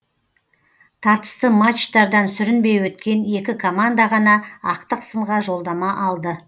тартысты матчтардан сүрінбей өткен екі команда ғана ақтық сынға жолдама алды